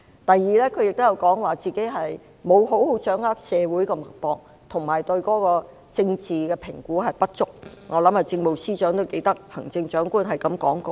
第二，她說沒有好好掌握社會脈搏及對政治評估不足，我相信政務司司長都記得行政長官是這樣說的。